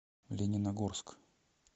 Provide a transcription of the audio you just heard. лениногорск